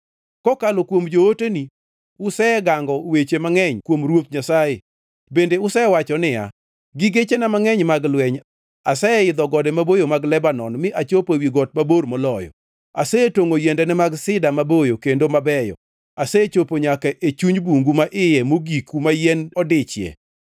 Kokalo kuom jooteni usegango weche mag ayany kuom Ruoth Nyasaye. Bende usewacho niya, ‘Gi gechena mangʼeny mag lweny, aseidho gode maboyo mag Lebanon mi achopo ewi got mabor moloyo. Asetongʼo yiendene mag sida maboyo kendo mabeyo. Asechopo nyaka e chuny bungu ma iye mogik kuma yien odiche.